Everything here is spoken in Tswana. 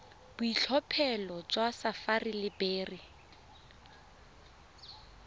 boitlhophelo jwa sapphire le beryl